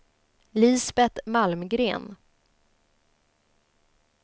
Lisbeth Malmgren